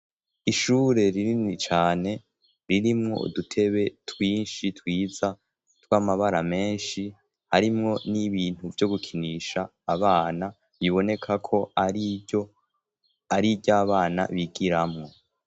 ishure ririni cyane ririmwo udutebe twinshi twiza tw'amabara menshi harimwo n'ibintu byo gukinisha abana biboneka ko ari iryabana bigiramo